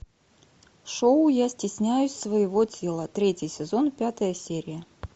шоу я стесняюсь своего тела третий сезон пятая серия